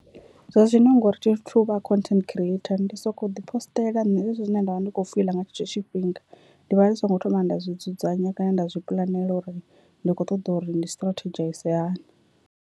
Zwazwino ngori thi thu vha content creator ndi soko ḓi posṱela nṋe zwezwi zwine nda vha ndi kho fiḽa nga tshetsho tshifhinga, ndi vha ndi songo thoma nda zwi dzudzanya kana nda zwi puḽanela uri ndi kho ṱoḓa uri ndi stratedzhaize hani.